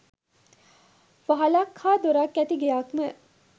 වහලක් හා දොරක් ඇති ගෙයක් ම